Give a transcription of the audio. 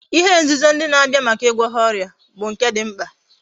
ihe nzuzo ndi na Abia Maka igwo ha oria but nke di mkpa